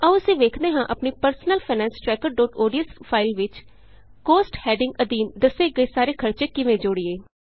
ਆਉ ਅਸੀਂ ਵੇਖਦੇ ਹਾਂ ਆਪਣੀ ਪਰਸਨਲ ਫਾਈਨੈਂਸ trackerਓਡੀਐਸ ਫਾਇਲ ਵਿਚ ਕੋਸਟ ਹੈਡਿੰਗ ਅਧੀਨ ਦੱਸੇ ਗਏ ਸਾਰੇ ਖਰਚੇ ਕਿਵੇਂ ਜੋੜੀਏ